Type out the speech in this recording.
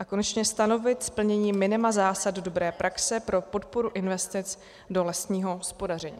A konečně stanovit splnění minima zásad dobré praxe pro podporu investic do lesního hospodaření.